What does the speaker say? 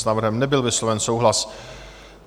S návrhem nebyl vysloven souhlas.